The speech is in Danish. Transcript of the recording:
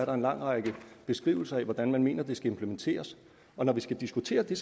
er en lang række beskrivelser af hvordan man mener det skal implementeres når vi skal diskutere det